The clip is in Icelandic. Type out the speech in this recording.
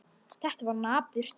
Þetta var napurt.